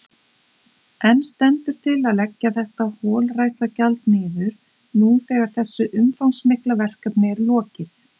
En stendur til að leggja þetta holræsagjald niður nú þegar þessu umfangsmikla verkefni er lokið?